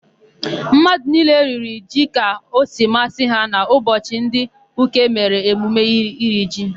Mmadụ niile riri ji ka o si masị ha n'ụbọchị ndị Uke mere emume iri ji.